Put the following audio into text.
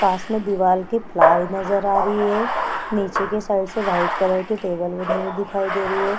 पास में दीवाल के प्लाई नजर आ रही है । नीचे के साइड से व्हाइट कलर के टेबल बनी हुई दिखाई दे रही है ।